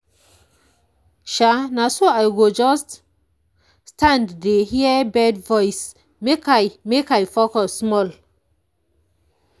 sha na so i go just stand dey hear bird voice make i make i focus small.